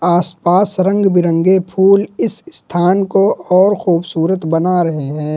आसपास रंग बिरंगे फूल इस स्थान को और खूबसूरत बना रहे हैं।